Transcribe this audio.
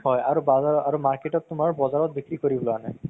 হয় আৰু আৰু market ত তুমাৰ বজাৰত বিক্ৰি কৰিবলৈ আনে